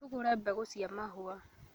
Tũgũre mbegũcia mahũa